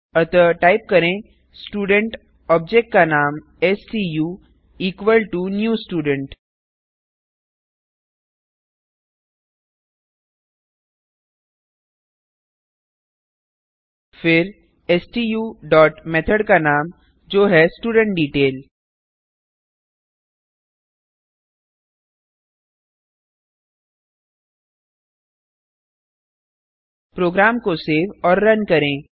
अतः टाइप करें student object का नाम stu equal to new student फिर स्टू डॉट मेथड का नाम जो है स्टुडेंटडेटेल प्रोग्राम को सेव और रन करें